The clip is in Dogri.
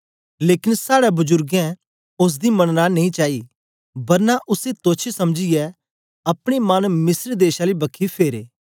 लेकन साड़े बजुरगें ओसदी मनना नेई चाई बरना उसी तोच्छ समझीयै अपने मन मिस्र देश आली बखी फेरे